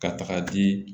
Ka taga di